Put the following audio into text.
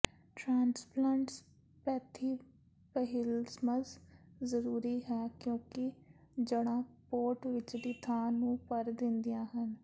transplant spathiphyllums ਜ਼ਰੂਰੀ ਹਨ ਕਿਉਂਕਿ ਜੜ੍ਹਾਂ ਪੋਟ ਵਿਚਲੀ ਥਾਂ ਨੂੰ ਭਰ ਦਿੰਦੀਆਂ ਹਨ